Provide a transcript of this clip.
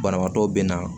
Banabaatɔ bɛ na